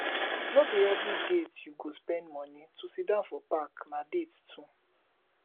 no be every date you go spend moni to siddon for park na date too